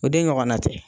O de ɲɔgɔnna tɛ